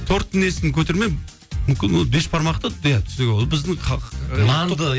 торттың несін көтермей мүмкін ол бешбармақты